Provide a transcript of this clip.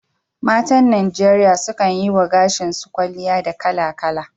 Matan Najeriya sukan yi wa gashi su kwalliya da kala-kala